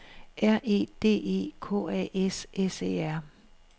R E D E K A S S E R